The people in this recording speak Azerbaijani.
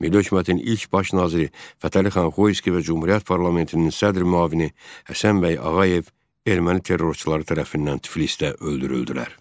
Milli hökumətin ilk baş naziri Fətəli xan Xoyski və Cümhuriyyət parlamentinin sədr müavini Həsən bəy Ağayev erməni terrorçuları tərəfindən Tiflisdə öldürüldülər.